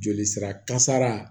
Joli sira kasara